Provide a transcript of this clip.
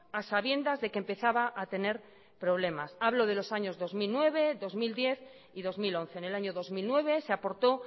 a sabiendas de que empezaba a tener problemas hablo de los años dos mil nueve dos mil diez y dos mil once en el año dos mil nueve se aportó